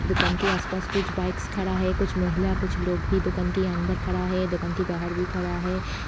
दुकान के आस पास कुछ बाइक खड़ा हैं। कुछ महिला कुछ लोग भी दुकान के अंदर खड़ा हैं। दुकान के बाहर भी खड़ा हैं।